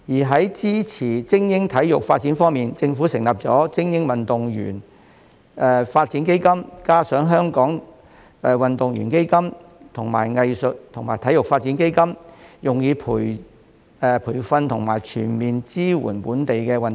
在支持精英體育發展方面，政府成立了精英運動員發展基金，加上香港運動員基金和藝術及體育發展基金，用以培訓和全面支援本地運動員。